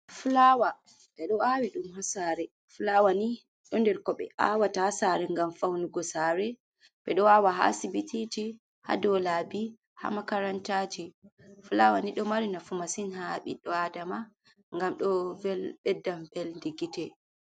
Fulawa bedo awi dum hasare fulawa ni do nder ko be awata hasare gam faunugo sare be do awa ha sibitiji ha dolabi ha makarantaji fulawa ni do mari nafu masin ha biddo adama gam do beddam pelde gite.